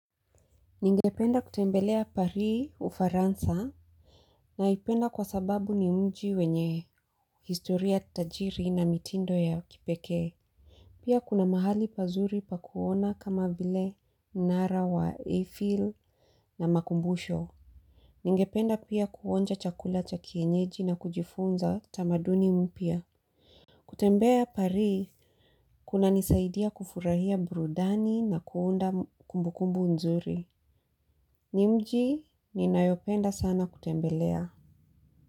Ningependa kutembelea Paris ufaransa naipenda kwa sababu ni mji wenye historia tajiri na mitindo ya kipekee. Pia kuna mahali pazuri pakuona kama vile mnara wa Eiffel na makumbusho. Ningependa pia kuonja chakula cha kienyeji na kujifunza tamaduni mpya. Kutembea pari kuna nisaidia kufurahia burudani na kuunda kumbukumbu nzuri. Ni mji ninayopenda sana kutembelea.